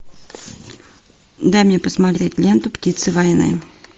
дай мне посмотреть ленту птицы войны